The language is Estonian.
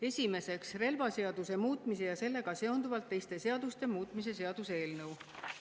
Esiteks, relvaseaduse muutmise ja sellega seonduvalt teiste seaduste muutmise seaduse eelnõu.